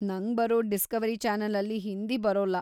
ನಂಗ್ಬರೋ Discovery ಚಾನೆಲಲ್ಲಿ ಹಿಂದಿ ಬರೊಲ್ಲ.